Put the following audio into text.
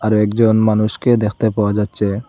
আরো একজন মানুষকে দেখতে পাওয়া যাচ্ছে।